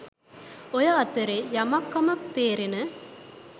ඔය අතරෙ යමක් කමක් තේරෙන